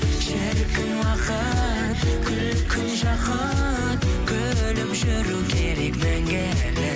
шіркін уақыт күлкің жақұт күліп жүру керек мәңгілік